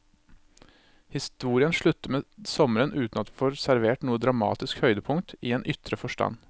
Historien slutter med sommeren uten at vi får servert noe dramatisk høydepunkt i en ytre forstand.